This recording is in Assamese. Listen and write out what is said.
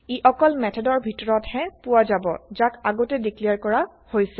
ই অকল মেথডৰ ভিতৰত হে পোৱা যাব যাক আগতে ডিক্লেৰ কৰা হৈছে